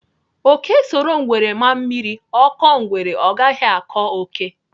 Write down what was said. Ókè soro ngwere ma mmiri, ọ kọọ ngwere, ọ gaghị akọ ókè.